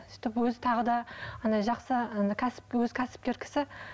сөйтіп өзі тағы да андай жақсы андай кәсіп өзі кәсіпкер кісі